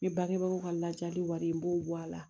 N bɛ bangebaaw ka lajali wari n b'o bɔ a la